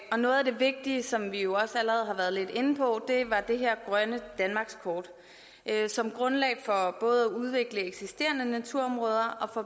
og noget af det vigtige som vi jo også allerede har været lidt inde på var det her grønne danmarkskort som grundlag for både at udvikle eksisterende naturområder og